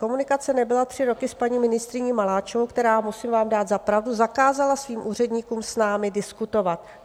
Komunikace nebyla tři roky s paní ministryní Maláčovou, která, musím vám dát za pravdu, zakázala svým úředníkům s námi diskutovat.